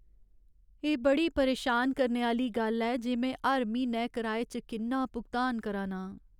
एह् बड़ी परेशान करने आह्‌ली गल्ल ऐ जे में हर म्हीनै कराए च किन्ना भुगतान करा ना आं।